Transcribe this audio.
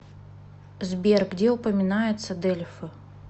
сбер где упоминается дельфы